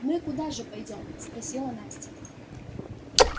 мы куда же пойдём спросила настя